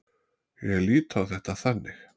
Ég lít á þetta þannig.